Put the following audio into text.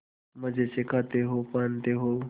मजे से खाते हो पहनते हो